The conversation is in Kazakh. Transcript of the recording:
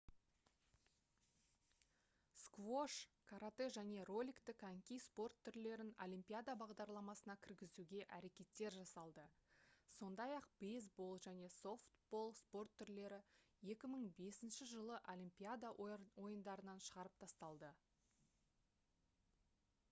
сквош каратэ және роликті коньки спорт түрлерін олимпиада бағдарламасына кіргізуге әрекеттер жасалды сондай-ақ бейсбол және софтбол спорт түрлері 2005-жылы олимпиада ойындарынан шығарып тасталды